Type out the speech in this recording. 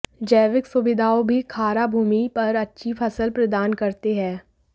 जैविक सुविधाओं भी खारा भूमि पर अच्छी फसल प्रदान करते हैं